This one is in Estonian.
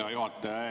Hea juhataja!